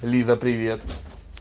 лиза привет